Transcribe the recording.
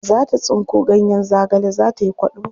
Za ta tsinko ganyen zagale za ta yi kwaɗo.